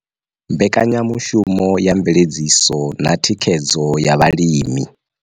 Mbekanyamushumo ya mveledziso na thikhedzo ya vhalimi.